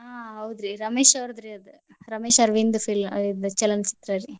ಹಾ ಹೌದ್ರಿ ರಮೇಶ ಅವರ್ದ್ರಿ ಆದ್. ರಮೇಶ ಅರವಿಂದ್ ಫಿಲ್~ ಚಲನಚಿತ್ರ ರೀ.